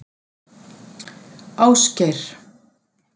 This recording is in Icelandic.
Ásgeir